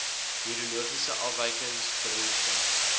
neurologiese afwykings beroerte